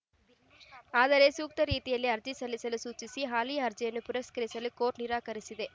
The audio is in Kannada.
ಆದರೆ ಸೂಕ್ತ ರೀತಿಯಲ್ಲಿ ಅರ್ಜಿ ಸಲ್ಲಿಸಲು ಸೂಚಿಸಿ ಹಾಲಿ ಅರ್ಜಿಯನ್ನು ಪುರಸ್ಕರಿಸಲು ಕೋರ್ಟ್‌ ನಿರಾಕರಿಸಿದೆ